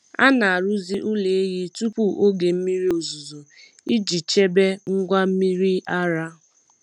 A na-arụzi ụlọ ehi tupu oge mmiri ozuzo iji chebe ngwa mmiri ara.